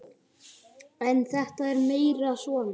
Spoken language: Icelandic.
En þetta er meira svona.